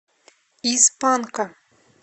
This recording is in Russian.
из панка